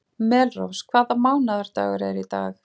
Melrós, hvaða mánaðardagur er í dag?